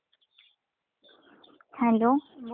बोल ना काय म्हणते मग अजून?